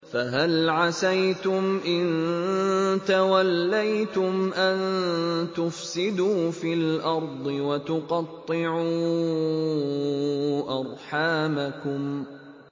فَهَلْ عَسَيْتُمْ إِن تَوَلَّيْتُمْ أَن تُفْسِدُوا فِي الْأَرْضِ وَتُقَطِّعُوا أَرْحَامَكُمْ